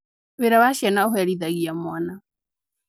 Wira wa ciana ũherithia mwana.